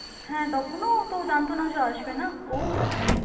হ্যাঁ তখনো ওতো জানতো না যে ও আসবেনা, ও মানে